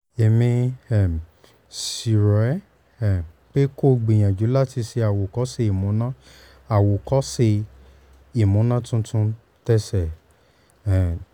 èmi um sì rọ̀ ẹ́ um pé kó o gbìyànjú láti ṣe àwòkọ́ṣe ìmúná àwòkọ́ṣe ìmúná tuntun tese um